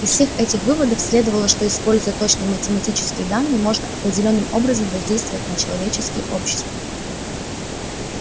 из всех этих выводов следовало что используя точные математические данные можно определённым образом воздействовать на человеческие общества